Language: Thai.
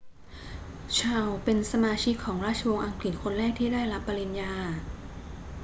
ชาร์ลส์เป็นสมาชิกของราชวงศ์อังกฤษคนแรกที่ได้รับปริญญา